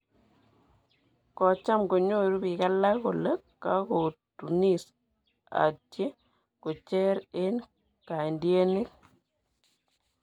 kocham konyuru biik alak kole kokotunis atye kocher eng kaantiienik